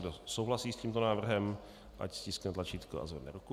Kdo souhlasí s tímto návrhem, ať stiskne tlačítko a zvedne ruku.